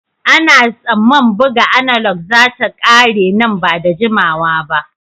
Ana tsamman buga analog za ta ƙare nan ba da jimawa ba.